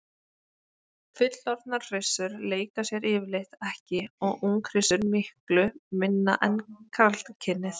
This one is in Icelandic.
Fullorðnar hryssur leika sér yfirleitt ekki og unghryssur miklu minna en karlkynið.